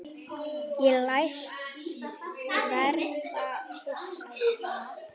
Ég læst verða hissa.